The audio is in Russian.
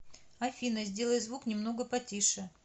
афина сделай звук немного потише